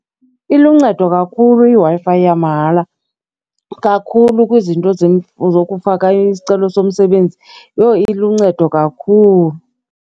Iluncedo kakhulu iW-Fi yamahala kakhulu kwizinto zokufaka isicelo somsebenzi. Yho, iluncedo kakhulu.